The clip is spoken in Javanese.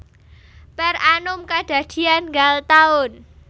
Per annum kedadian nggal taun